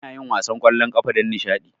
Anayin wasan kwallon kafa don nishadi